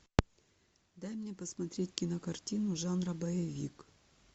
дай мне посмотреть кинокартину жанра боевик